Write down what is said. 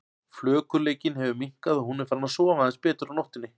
Flökurleikinn hefur minnkað og hún er farin að sofa aðeins betur á nóttunni.